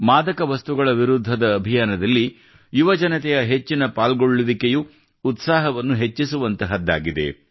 ಮಾದಕ ವಸ್ತುಗಳ ವಿರುದ್ಧದ ಅಭಿಯಾನದಲ್ಲಿ ಯುವಜನತೆಯ ಹೆಚ್ಚಿನ ಪಾಲ್ಗೊಳ್ಳುವಿಕೆಯು ಉತ್ಸಾಹವನ್ನು ಹೆಚ್ಚಿಸುವಂತದ್ದಾಗಿದೆ